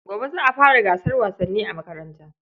Gobe za a fara gasar wasanni a makaranta.